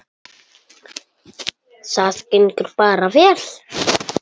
Það gengur bara vel.